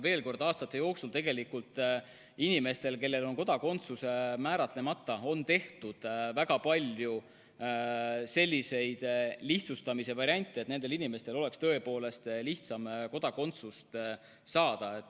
Veel kord: aastate jooksul on inimestele, kellel kodakondsus on määratlemata, tehtud väga palju lihtsustamise variante, et neil oleks tõepoolest lihtsam kodakondsust saada.